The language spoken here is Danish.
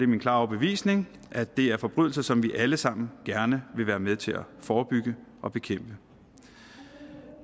min klare overbevisning at det er forbrydelser som vi alle sammen gerne vil være med til at forebygge og bekæmpe